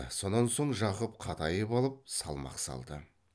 сонан соң жақып қатайып алып салмақ салды